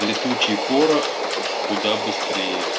летучий порох куда быстрее